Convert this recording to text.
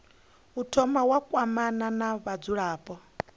thoma wa kwamana na vhadzulapo